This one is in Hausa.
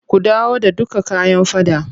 Ku dawo da dukka kayan faɗan.